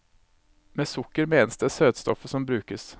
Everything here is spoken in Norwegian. Med sukker menes det søtstoffet som brukes.